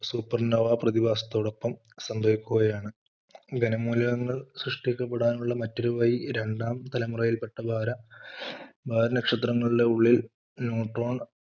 super nova പ്രതിഭാസത്തോടൊപ്പം സംഭവിക്കുകയാണ് ഖന മൂലകങ്ങൾ സൃഷ്ടിക്കപ്പെടാനുള്ള മറ്റൊരു വഴി രണ്ടാം തലമുറയിൽ പെട്ട വാൽനക്ഷത്രങ്ങളുടെ ഉള്ളിൽ ന്യൂട്രോൺ